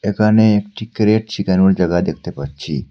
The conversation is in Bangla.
এখানে একটি ক্রেট শিখানোর জাগা দেখতে পাচ্ছি।